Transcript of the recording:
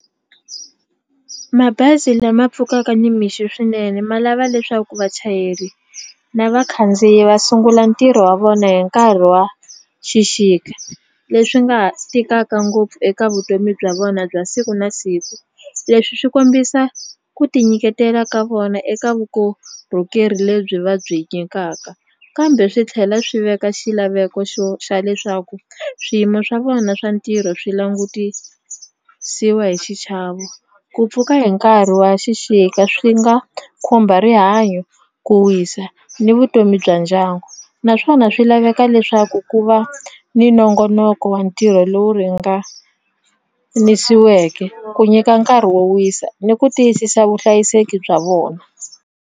Mabazi lama pfukaka nimixo swinene ma lava leswaku vachayeri na vakhandziyi va sungula ntirho wa vona hi nkarhi wa xixika leswi nga ha tikaka ngopfu eka vutomi bya vona bya siku na siku leswi swi kombisa ku tinyiketela ka vona eka vukorhokeri lebyi va byi nyikaka kambe swi tlhela swi veka xilaveko xo xa leswaku swiyimo swa vona swa ntirho swi langutisiwa hi xichavo ku pfuka hi nkarhi wa xixika swi nga khumba rihanyo ku wisa ni vutomi bya ndyangu naswona swi laveka leswaku ku va ni nongonoko wa ntirho lowu ringanisiweke ku nyika nkarhi wo wisa ni ku tiyisisa vuhlayiseki bya vona.